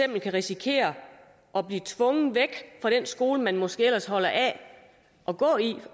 kan risikere at blive tvunget væk fra den skole man måske ellers holder af at gå i